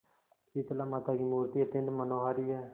शीतलामाता की मूर्ति अत्यंत मनोहारी है